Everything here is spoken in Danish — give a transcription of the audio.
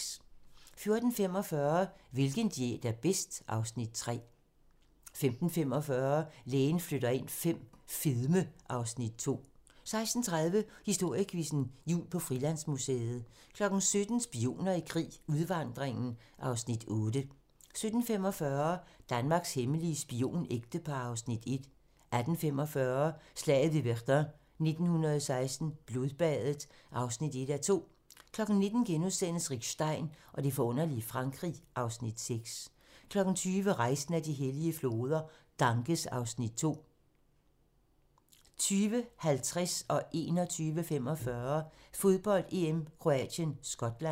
14:45: Hvilken diæt er bedst? (Afs. 3) 15:45: Lægen flytter ind V - fedme (Afs. 2) 16:30: Historiequizzen: Jul på Frilandsmuseet 17:00: Spioner i krig: Udvandringen (Afs. 8) 17:45: Danmarks hemmelige spionægtepar (Afs. 1) 18:15: Slaget ved Verdun 1916 - Blodbadet (1:2) 19:00: Rick Stein og det forunderlige Frankrig (Afs. 6)* 20:00: Rejsen ad de hellige floder - Ganges (Afs. 2) 20:50: Fodbold: EM - Kroatien-Skotland 21:45: Fodbold: EM - Kroatien-Skotland